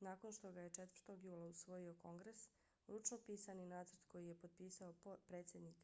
nakon što ga je 4. jula usvojio kongres ručno pisani nacrt koji je potpisao predsjednik